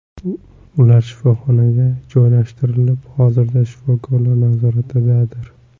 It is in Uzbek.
Ular shifoxonaga joylashtirilib, hozirda shifokorlar nazoratidadir.